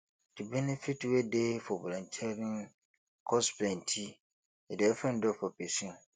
di benefit wey dey for volunteering cause plenty e dey open door for pesin